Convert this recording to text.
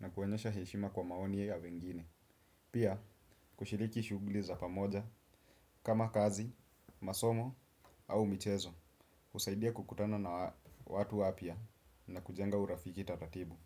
na kuwaonyesha heshima kwa maoni ya wengine. Pia, kushiriki shughuli za pamoja kama kazi, masomo au michezo, husaidia kukutana na watu wapy na kujenga urafiki taratibu.